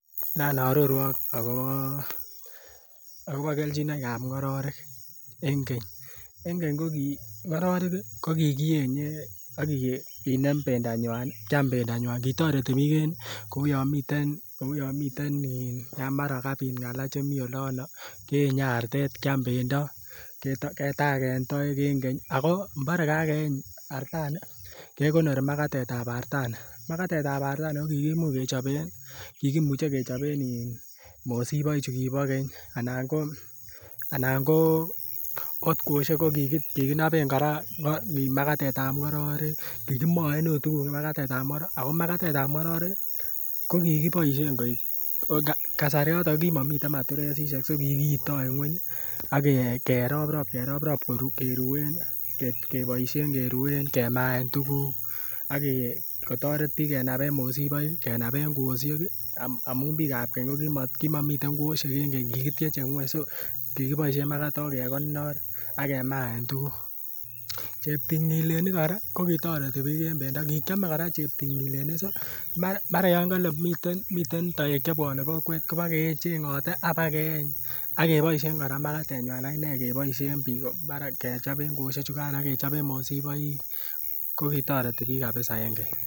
Nan oorwok akobo keljinoikab ngororek en keny, en keny ko kii ngororek ko kikienye okinem bendanywan kyam bendanywan kitoreti biik en ko uu yon miten ini yan mara kabit ngala chemii olono keenye artetet kyam bendo ketagen koek en keny, ako mbore kakeeny artani kegonori makatetab artani. Makatetab artani kokimuch kikimuche kechoben ini mosiboik chu kibo keny anan ko ot kwoshek ko kikinoben koraa makatetab ngororek kikimoen ot tuguk makatetab ngororek ako makatetab ngororek ii ko kiboishen koik oo kasaraton ko ki momiten matiresishek ko kikiito en ngweny age rop rop keroprop keruen keboishen keruen kemaen tuguk ako toret biik kenaben mosiboik kenaben kwoshek ii amun biikab keny ko ki momiten kwoshek kikityeche ngweny kiboishen makatok kegonor ak kemaen tuguk. Cheptingilenik koraa ko kitoreti biik koraa en bendo kikyome koraa cheptingilenik si mara yon miten toek che miten kokwet kobo ke chengote ak na keeny akeboishen koraa makatenywan akinee keboishen biik mara kechoben kwoshek chukan ak kechoben mosiboik kokitoreti biik kabisa en keny